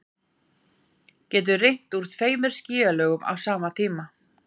getur rignt úr tveimur skýjalögum á sama tíma